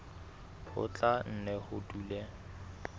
ho tla nne ho dule